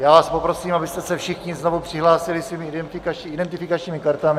Já vás poprosím, abyste se všichni znovu přihlásili svými identifikačními kartami.